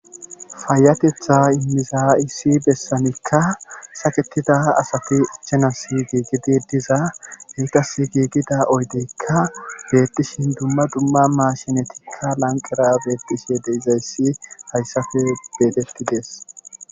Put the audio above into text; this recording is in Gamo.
Payateththa giza issi bessankka sakketida asati ichanasi giigidi diza ettasi giigida oydeekka beetishin dumma dumma maashinetikka lanqqera beetishe de'izayssi hayssappe betetidees.